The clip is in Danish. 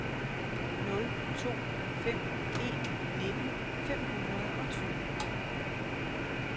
nul to fem en nitten fem hundrede og tyve